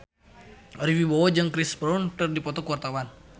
Ari Wibowo jeung Chris Brown keur dipoto ku wartawan